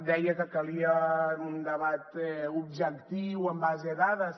deia que calia un debat objectiu en base a dades